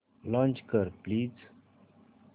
launch कर please